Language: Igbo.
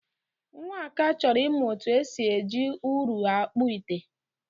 Nwaka chọrọ ịmụ etu esi eji ụrụ akpụ ite.